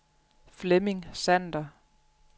Flemming Sander